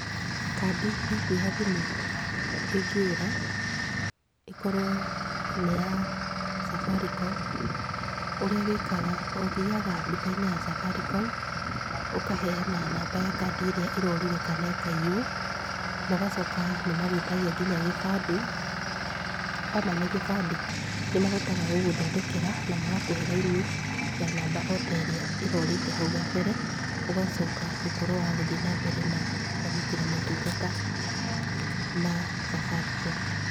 Kandi yaku ya thimũ ĩngĩũra, ĩkorwo nĩ ya Safaricom, ũrĩa wĩkaga, ũthiaga ndũka-inĩ ya Safaricom ũkaheana namba ya kandi ĩrĩa ĩrorire kana ĩkaiywo, na ũgacoka nĩmagwĩtagia nginya kĩbandĩ. Wamane kĩbandĩ nĩmahotaga gũgũthondekera, na magakũhe raini ya namba o ta ĩrĩa ĩrorĩte hau gabere, ũgacoka gũkorwo wa gũthiĩ na mbere na kwamũkĩra motungata ma Safaricom.